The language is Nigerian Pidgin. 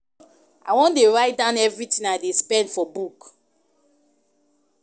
I wan dey write down everything I dey spend for book